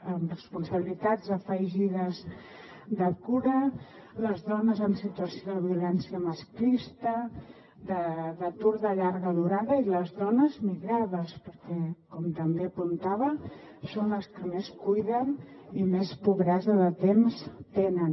amb responsabilitats afegides de cura les dones en situació de violència masclista d’atur de llarga durada i les dones migrades perquè com també apuntava són les que més cuiden i més pobresa de temps tenen